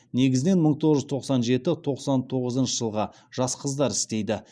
негізінен мың тоғыз жүз тоқсан жеті тоқсан тоғызыншы жылға жас қыздар істейді